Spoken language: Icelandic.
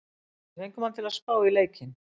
Við fengum hann til að spá í leikinn.